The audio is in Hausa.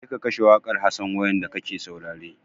Je ka kashe wakar Hassan wayam da ka ke saurare!